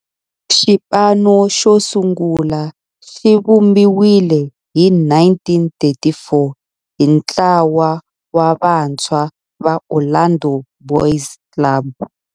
Xipano xosungula xivumbiwile hi 1934 hi ntlawa wa vantshwa va Orlando Boys Club.